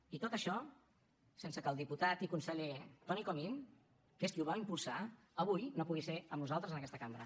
i tot això sense que el diputat i conseller toni comín que és qui ho va impulsar avui no pugui ser amb nosaltres en aquesta cambra